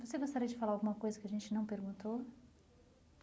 Você gostaria de falar alguma coisa que a gente não perguntou?